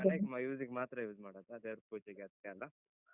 ನಮ್ ಮನೆಗ್ ಮ use ಗ್ ಮಾತ್ರ use ಮಾಡುದ್ ದೇವ್ರ್ ಪೂಜೆಗೆ ಅದ್ಕೆಲ್ಲ.